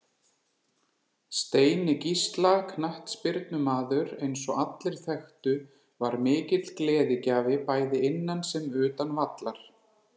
Steini Gísla knattspyrnumaður eins og allir þekktu var mikill gleðigjafi bæði innan sem utan vallar.